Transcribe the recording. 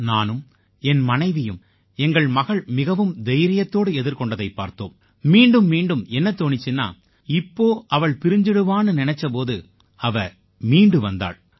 நானும் என் மனைவியும் எங்கள் மகள் மிகவும் தைரியத்தோடு எதிர்கொண்டதைப் பார்த்தோம் மீண்டும் மீண்டும் என்ன தோணீச்சுன்னா இப்போ அவள் பிரிஞ்சுடுவான்னு நினைச்ச போது அவ மீண்டு வந்தாள்